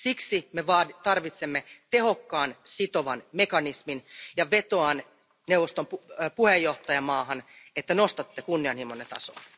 Siksi me tarvitsemme tehokkaan, sitovan mekanismin ja vetoan neuvoston puheenjohtajamaahan, että nostatte kunnianhimonne tasoa.